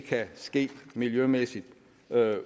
kan ske miljømæssigt